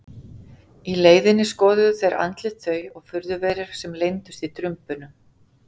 Í leiðinni skoðuðu þeir andlit þau og furðuverur sem leyndust í drumbunum.